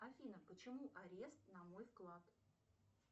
афина почему арест на мой вклад